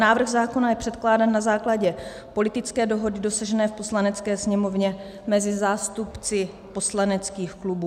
Návrh zákona je předkládán na základě politické dohody dosažené v Poslanecké sněmovně mezi zástupci poslaneckých klubů.